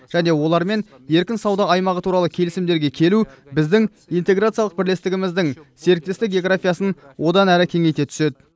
және олармен еркін сауда аймағы туралы келісімдерге келу біздің интеграциялық бірлестігіміздің серіктестік географиясын одан әрі кеңейте түседі